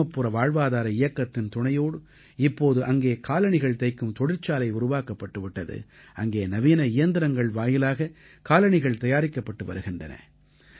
கிராமப்புற வாழ்வாதார இயக்கத்தின் துணையோடு இப்போது அங்கே காலணிகள் தைக்கும் தொழிற்சாலை உருவாக்கப்பட்டு விட்டது அங்கே நவீன இயந்திரங்கள் வாயிலாக காலணிகள் தயாரிக்கப்பட்டு வருகின்றன